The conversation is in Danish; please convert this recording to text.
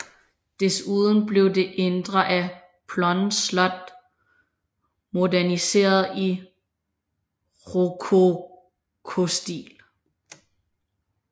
Desuden blev det indre af Plön Slot moderniseret i rokokostil